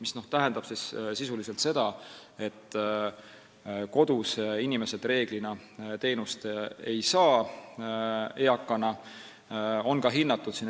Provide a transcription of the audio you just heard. See tähendab sisuliselt seda, et eakad inimesed kodus reeglina teenust ei saa.